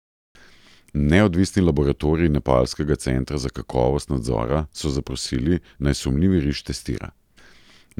Neodvisni laboratorij nepalskega centra za kakovost nadzora so zaprosili, naj sumljivi riž testira.